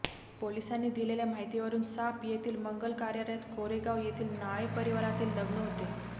पोलिसांनी दिलेल्या माहितीवरून साप येथील मंगल कार्यालयात कोरेगाव येथील नाळे परिवारातील लग्न होते